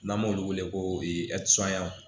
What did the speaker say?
N'an b'olu wele ko